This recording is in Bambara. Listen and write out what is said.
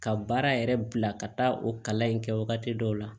Ka baara yɛrɛ bila ka taa o kalan in kɛ wagati dɔw la